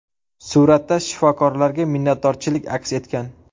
Suratda shifokorlarga minnatdorchilik aks etgan.